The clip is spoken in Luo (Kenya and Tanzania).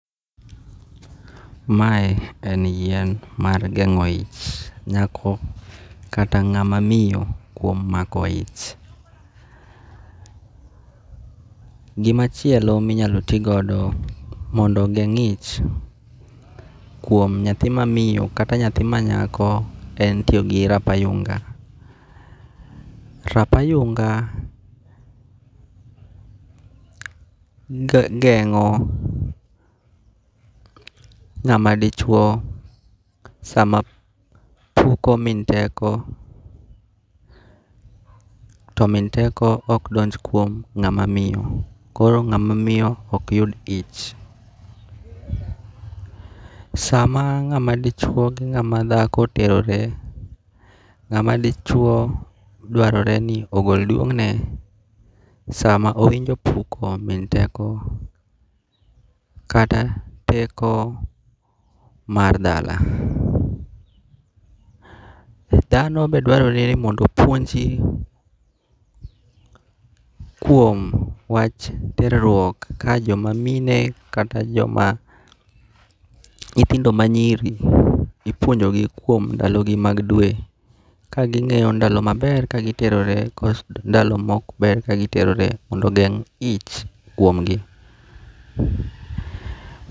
Mae en yien mar gengo' ich, nyako kata nga'ma miyo kuom mako ich. Gimachielo minyalo ti godo mondo ogeng' ich kuom nyathi ma miyo kata nyathi manyako en tiyo gi rabayunga', rabayunga' gengo' nga'madichuo sama puko min teko to min teko ok donj kuom nga'ma miyo koro nga'ma miyo ok yud ich, sama nga'ma dichuo gi nga'ma thako terore, nga'ma dichuo dwarore ni ogol duwongne sama owinjo opuko min teko kata teko mar dala. Thano be dwarore ni mondo opuonji kuom wach teruok ka jomamine kata joma nyithindo manyiri ipuonjogi kuom ndalogi mag dwe, kagingi'yo ndalo maber kagiterore koso ndalo ma ok ber mondo ogeng' ich kuomgi.